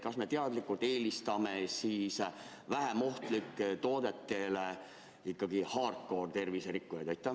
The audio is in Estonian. Kas me teadlikult eelistame siis vähem ohtlikele toodetele ikkagi hardcore terviserikkujaid?